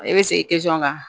E bɛ segin kan